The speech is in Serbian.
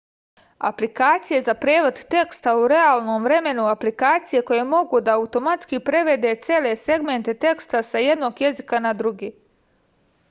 aplikacije za prevod teksta u realnom vremenu aplikacije koje mogu da automatski prevode cele segmente teksta sa jednog jezika na drugi